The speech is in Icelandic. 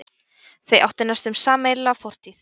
Þau áttu næstum sameiginlega fortíð.